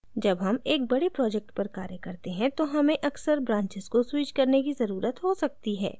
जब हम एक बड़े project पर कार्य करते हैं तो हमें अक्सर branches को switch करने की ज़रुरत हो सकती है